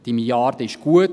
Diese Milliarde ist gut;